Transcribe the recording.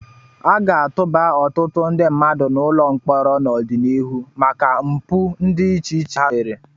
A ga-atụba ọtụtụ ndị mmadụ n'ụlọ mkpọrọ n'ọdịnihu maka mpụ dị iche iche ha mere.